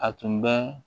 A tun bɛ